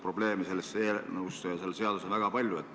Probleeme on selles eelnõus ja selles seaduses väga palju.